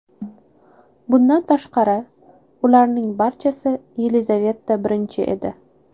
Bundan tashqari, ularning barchasi Yelizaveta I edi.